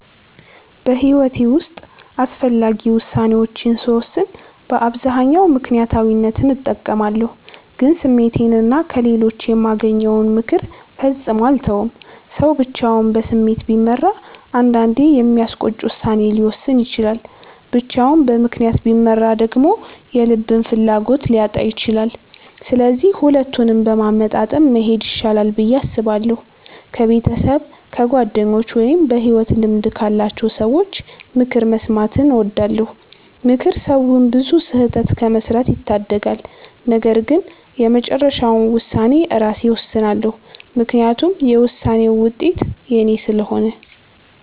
በሕይወቴ ውስጥ አስፈላጊ ውሳኔዎችን ስወስን በአብዛኛው ምክንያታዊነትን እጠቀማለሁ፣ ግን ስሜቴንና ከሌሎች የማገኘውን ምክር ፈጽሞ አልተውም። ሰው ብቻውን በስሜት ቢመራ አንዳንዴ የሚያስቆጭ ውሳኔ ሊወስን ይችላል፤ ብቻውን በምክንያት ቢመራ ደግሞ የልብን ፍላጎት ሊያጣ ይችላል። ስለዚህ ሁለቱንም በማመጣጠን መሄድ ይሻላል ብዬ አስባለሁ። ከቤተሰብ፣ ከጓደኞች ወይም በሕይወት ልምድ ካላቸው ሰዎች ምክር መስማትን እወዳለሁ። ምክር ሰውን ብዙ ስህተት ከመስራት ይታደጋል። ነገር ግን የመጨረሻውን ውሳኔ ራሴ እወስናለሁ፤ ምክንያቱም የውሳኔውን ውጤት የኔ ስለሆነ።